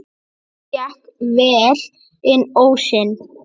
Okkur gekk vel inn ósinn.